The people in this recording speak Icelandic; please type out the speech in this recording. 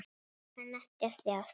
Hann kann ekki að þjást.